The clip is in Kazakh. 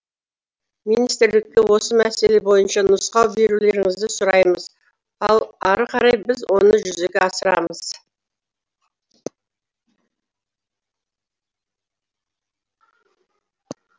министрлікке осы мәселе бойынша нұсқау берулеріңізді сұраймыз ал ары қарай біз оны жүзеге асырамыз